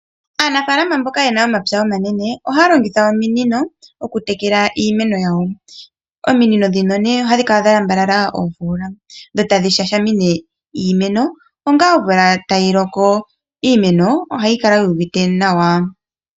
Aanafaalama mboka yena omwapya omanene ohaya longitha ominino oku tekela iimeno yawo. Ominino ndhino nee ohadhi kala dha lambalala oofola dho tadhi shashamine iimeno onga omvula tayiloko. Iimeno ohayi kala yuuvite nawa.